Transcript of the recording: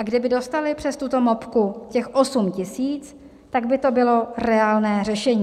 A kdyby dostali přes tuto mopku těch 8 000, tak by to bylo reálné řešení.